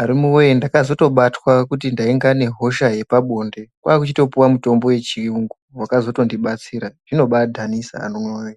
Arume woyee ndakatozobatwa kuti ndainga nehosha yepabonde kwakuchitopuwa mutombo yechiyungu wakazotondibatsira zvinobadhanisa kwemene.